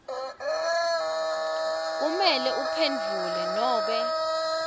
kumele uphendvule nobe